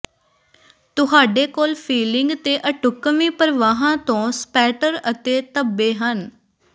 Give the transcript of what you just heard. ਤੁਹਾਡੇ ਕੋਲ ਫਿਲਿੰਗ ਤੇ ਅਢੁੱਕਵੀਂ ਪ੍ਰਵਾਹਾਂ ਤੋਂ ਸਪੈਟਰ ਅਤੇ ਧੱਬੇ ਹਨ